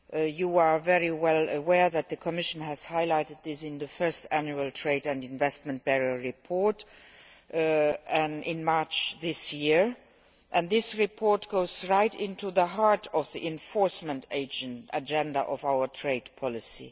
You are very well aware that the Commission has highlighted this in its first annual trade and investment barrier report in March this year and this report goes right to the heart of the enforcement agenda of our trade policy.